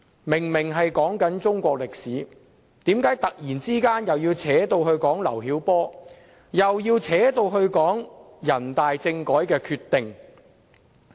明明是在討論中國歷史，為何他突然要扯上劉曉波，又要扯上人大政改的決定？